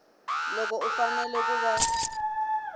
loko u fanele ku va